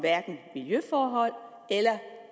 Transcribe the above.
miljøforhold eller